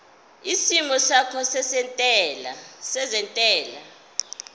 isimo sakho sezentela